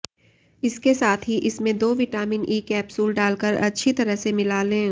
इसके साथ ही इसमें दो विटामिन ई कैप्सूल डालकर अच्छी तरह से मिला लें